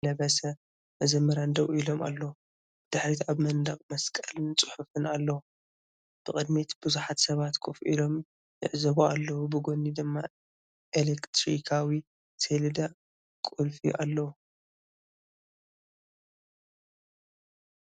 እዚ ኣብቲ ቤተክርስትያን ቀይሕ ክዳን ዝለበሰ መዘምራን ደው ኢሉ ኣሎ፡ ብድሕሪት ኣብ መንደቕ መስቀልን ጽሑፍን ኣለዎ። ብቕድሚት ብዙሓት ሰባት ኮፍ ኢሎም ይዕዘቡ ኣለዉ፡ ብጎኒ ድማ ኤሌክትሪካዊ ሰሌዳ ቁልፊ ኣለዎ።